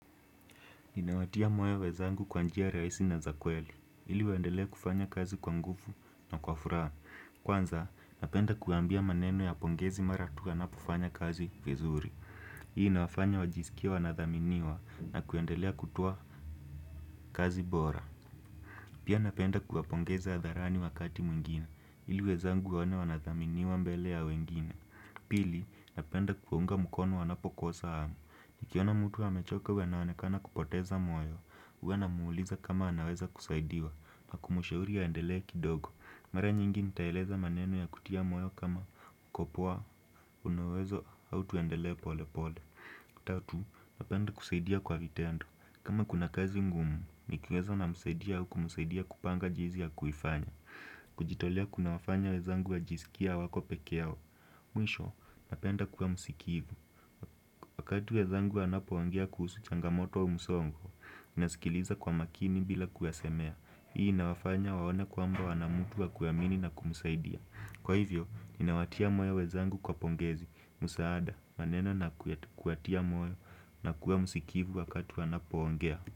Ninawatia moyo wenzangu kwa njia rahisi na za kweli, ili waendelee kufanya kazi kwa nguvu na kwa furaha. Kwanza, napenda kuambia maneno ya pongezi mara tu wanapofanya kazi vizuri. Hii inawafanya wajisikie wanathaminiwa na kuendelea kutoa kazi bora. Pia napenda kuwapongeza hadharani wakati mwingine, ili wenzangu waone wanathaminiwa mbele ya wengine. Pili, napenda kuunga mkono wanapokosa hamu. Nikiona mtu amechoke huyo anaonekana kupoteza moyo huwa namuuliza kama anaweza kusaidiwa na kumshauri aendelee kidogo mara nyingi nitaeleza maneno ya kutia moyo kama uko poa, una uwezo, au tuendelee pole pole tatu, napenda kusaidia kwa vitendo kama kuna kazi ngumu, nikiweza namsaidia au kumsaidia kupanga jinsi ya kuifanya kujitolea kunawafanya wenzangu wajiskie hawako peke yao mwisho, napenda kuwa msikivu wakati wenzangu wanapoongea kuhusu changamoto au msongo, nasikiliza kwa makini bila kuyasemea. Hii inawafanya waone kwamba wana mtu wa kuamini na kumsaidia. Kwa hivyo, inawatia moyo wenzangu kwa pongezi, msaada, maneno na kuwatia moyo na kuwa msikivu wakati wanapoongea.